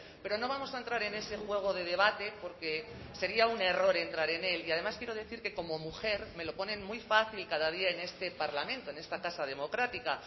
pero no vamos a entrar en ese juego de debate porque sería un error entrar en él y además quiero decir que como mujer me lo ponen muy fácil cada día en este parlamento en esta tasa democrática